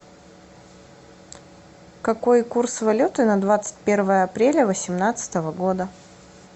какой курс валюты на двадцать первое апреля восемнадцатого года